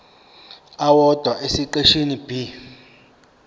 owodwa esiqeshini b